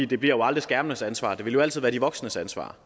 det bliver jo aldrig skærmenes ansvar det vil altid være de voksnes ansvar